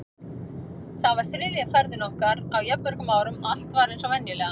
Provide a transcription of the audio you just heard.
Þetta var þriðja ferðin okkar á jafn mörgum árum og allt var eins og venjulega.